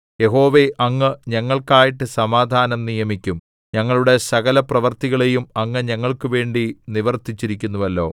യഹോവേ അങ്ങ് ഞങ്ങൾക്കായിട്ടു സമാധാനം നിയമിക്കും ഞങ്ങളുടെ സകലപ്രവൃത്തികളെയും അങ്ങ് ഞങ്ങൾക്കുവേണ്ടി നിവർത്തിച്ചിരിക്കുന്നുവല്ലോ